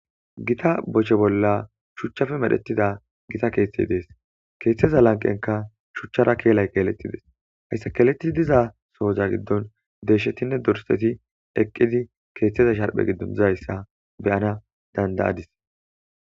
Gita boshe bola shuchappe medhetidda gita keethay dees kethaza lanqenkka shuchara keletida kelay dees hesa keletida kella gidon deshtinne dorsati kethazza shrphe gidon dizayssa beyanas dandayadis